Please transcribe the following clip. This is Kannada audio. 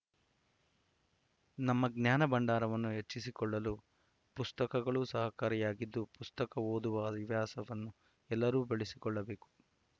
ನಮ್ಮ ಜ್ಞಾನ ಭಂಡಾರವನ್ನು ಹೆಚ್ಚಿಸಿಕೊಳ್ಳಲು ಪುಸ್ತಕಗಳು ಸಹಕಾರಿಯಾಗಿದ್ದು ಪುಸ್ತಕ ಓದುವ ಹವ್ಯಾಸವನ್ನು ಎಲ್ಲರೂ ಬೆಳಸಿಕೊಳ್ಳಬೇಕು